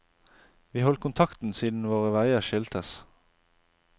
Vi holdt kontakten siden våre veier skiltes.